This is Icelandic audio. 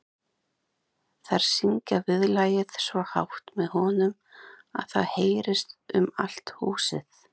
Þær syngja viðlagið svo hátt með honum að það heyrist um allt húsið.